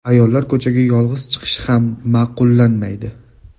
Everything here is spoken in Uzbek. Ayollar ko‘chaga yolg‘iz chiqishi ham ma’qullanmaydi.